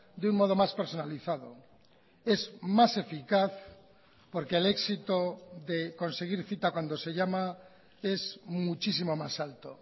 de un modo más personalizado es más eficaz porque el éxito de conseguir cita cuando se llama es muchísimo más alto